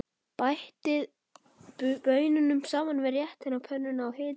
Bætið baununum saman við réttinn á pönnunni og hitið vel.